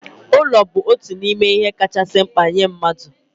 Ulo bụ otu n'ime ihe kachasị mkpa nye mmadụ